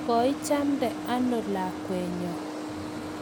koichamde ano lakwenyo?